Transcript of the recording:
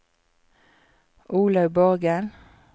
Olaug Borgen